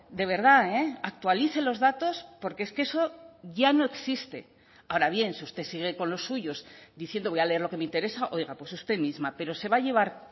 de verdad actualice los datos porque es que eso ya no existe ahora bien si usted sigue con los suyos diciendo voy a leer lo que me interesa oiga pues usted misma pero se va a llevar